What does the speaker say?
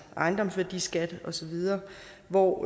ejendomsværdiskat osv hvor